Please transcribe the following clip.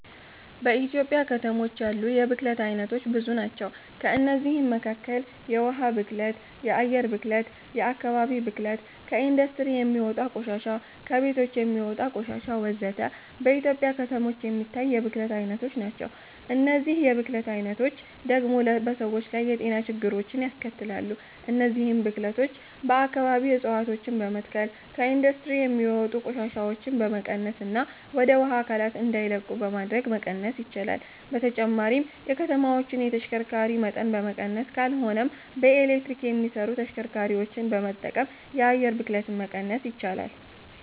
በኢትዮጵያ ከተሞች ያሉ የብክለት አይነቶች ብዙ ናቸው። ከእነዚህም መካከል የውሃ ብክለት፣ የአየር ብክለት፣ የአከባቢ ብክለት፣ ከኢንዱስትሪ የሚወጣ ቆሻሻ፣ ከቤቶች የሚወጣ ቆሻሾች ወዘተ። በኢትዮጵያ ከተሞች የሚታይ የብክለት አይነቶች ናቸው። እነዚህ የብክለት አይነቶች ደግሞ በሰዎች ላይ የጤና ችግሮችን ያስከትላሉ። እነዚህን ብክለቶች በአከባቢ እፀዋቶችን በመትከል፣ ከኢንዱስትሪ የሚወጡ ቆሻሻዎችን በመቀነስና ወደ ውሃ አካላት እንዳይለቁ በማድረግ መቀነስ ይቻላል። በተጨማሪም የከተማዎችን የተሽከርካሪ መጠን በመቀነስ ካልሆነም በኤሌክትሪክ የሚሰሩ ተሽከርካሪዎችን በመጠቀም የአየር ብክለትን መቀነስ ይቻላል።